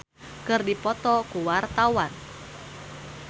Rezky Aditya jeung Jet Li keur dipoto ku wartawan